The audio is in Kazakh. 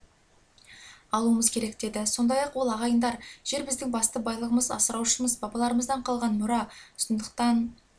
алуымыз керек деді сондай-ақ ол ағайындар жер біздің басты байлығымыз асыраушымыз бабаларымыздан қалған мұра сондықтан